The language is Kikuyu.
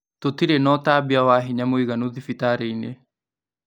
Tũtire na ũtambia wa hinya mũiganu thibitari-inĩ